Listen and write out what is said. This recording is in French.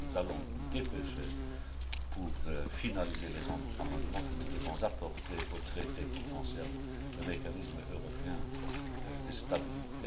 octobre. Nous allons nous dépêcher pour finaliser les amendements que nous devons apporter au traité qui concerne le mécanisme européen de stabilité.